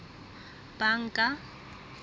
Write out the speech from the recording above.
banka